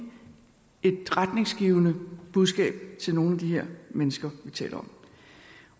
et retningsgivende budskab til nogle af de her mennesker vi taler